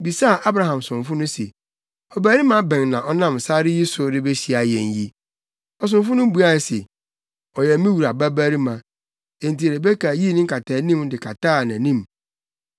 bisaa Abraham somfo no se, “Ɔbarima bɛn na ɔnam sare yi so rebehyia yɛn yi?” Ɔsomfo no buae se, “Ɔyɛ me wura babarima.” Enti Rebeka yii ne nkataanim de kataa nʼanim.